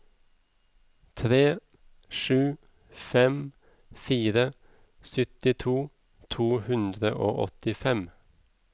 tre sju fem fire syttito to hundre og åttifem